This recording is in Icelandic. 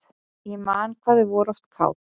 Ég man hvað þau voru oft kát.